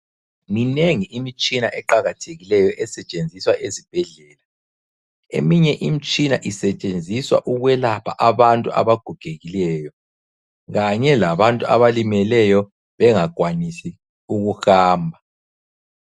Minengi imitshina eqakathekileyo esetshenziswa esibhedlela. Eminye imitshina isetshenziswa ukwelapha abantu abagogekileyo kanye labantu abalimeleyo bengakwanisi ukuhamba.